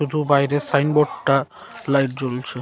দুটো বাইরের সাইনবোর্ড টা লাইট জ্বলছে।